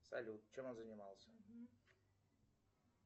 салют чем он занимался